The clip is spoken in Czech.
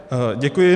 Děkuji.